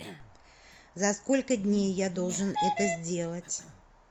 за сколько дней я должен это сделать